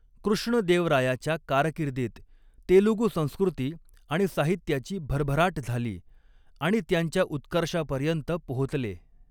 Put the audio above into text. कृष्णदेवरायाच्या कारकिर्दीत तेलुगू संस्कृती आणि साहित्याची भरभराट झाली आणि त्यांच्या उत्कर्षापर्यंत पोहोचले.